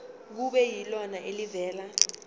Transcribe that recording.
kube yilona elivela